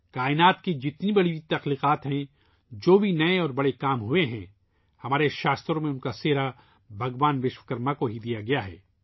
کائنات کی تمام عظیم تخلیقات ، جو بھی نئی اور بڑی چیزیں کی گئی ہیں ، ان کا کریڈٹ ہماری کتابوں میں بھگوان وشوکرما کو دیا گیا ہے